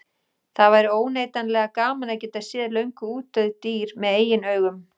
Það væri óneitanlega gaman að geta séð löngu útdauð dýr með eigin augum.